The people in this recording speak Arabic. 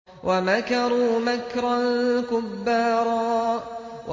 وَمَكَرُوا مَكْرًا كُبَّارًا